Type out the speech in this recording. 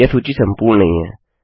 यह सूची संपूर्ण नहीं है